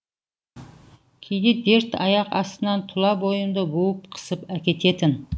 кейде дерт аяқ астынан тұла бойымды буып қысып әкететін